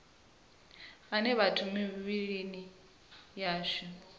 ane a vha mivhilini yashu